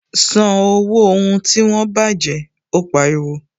San owó ohun tí wọ́n baje! Ó pariwo